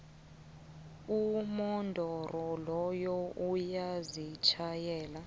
umodoro loya uyazitjhayela